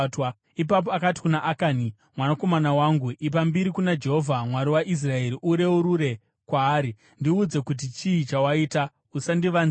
Ipapo akati kuna Akani, “Mwanakomana wangu, ipa mbiri kuna Jehovha, Mwari waIsraeri, ureurure kwaari. Ndiudze kuti chii chawaita; usandivanzira.”